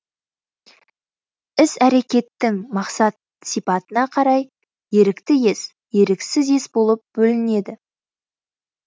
іс әрекеттің мақсат сипатына қарай ерікті ес еріксіз ес болып бөлінеді